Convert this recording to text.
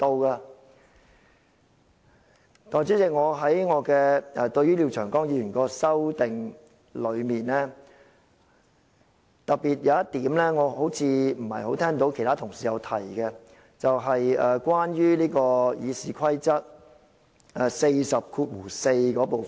代理主席，廖長江議員的決議案提出的修訂中有一點，我不太聽到其他同事提到，便是關於《議事規則》第404條的部分。